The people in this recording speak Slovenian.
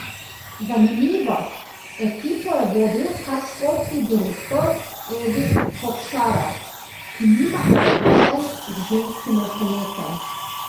Zanimivo, ekipo je vodil kar športni direktor Edi Kokšarov, ki nima izkušenj z ženskim rokometom.